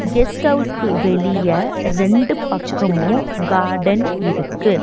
Guest ஹவுஸ்க்கு வெளிய ரெண்டு பக்கமு கார்டன் இருக்கு.